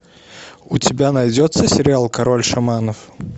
у тебя найдется сериал король шаманов